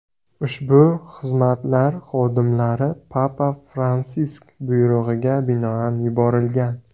Ushbu xizmatlar xodimlari papa Fransisk buyrug‘iga binoan yuborilgan.